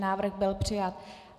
Návrh byl přijat.